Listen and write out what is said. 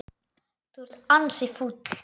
Þú ert ansi fúll.